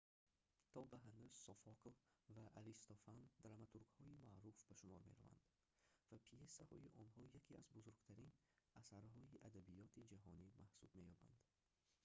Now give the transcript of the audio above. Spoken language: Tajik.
то ба ҳанӯз софокл ва аристофан драматургҳои маъруф ба шумор мераванд ва пйесаҳои онҳо яке аз бузургтарин асарҳои адабиёти ҷаҳонӣ маҳсуб меёбанд